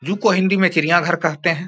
Zoo को हिंदी में चिड़ियाँ घर कहते हैं।